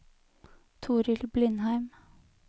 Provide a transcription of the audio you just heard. Torild Blindheim